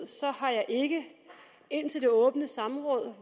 har jeg ikke indtil det åbne samråd